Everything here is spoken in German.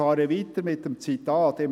Ich setze das Zitat fort: